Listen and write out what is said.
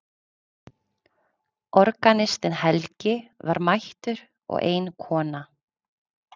Organistinn Helgi var mættur og ein kona.